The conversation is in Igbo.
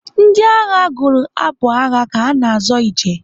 Ndị agha gụrụ abụ agha ka ha na-azọ ije.